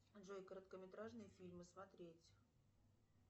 джой короткометражные фильмы смотреть